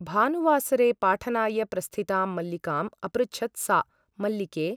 भानुवासरे पाठनाय प्रस्थितां मल्लिकाम् अपृच्छत् सा मल्लिके !